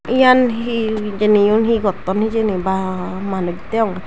yan he hijeni yun he gotton hijeni ba manuj deonge.